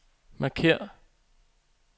markér